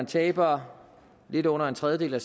taber lidt under en tredjedel af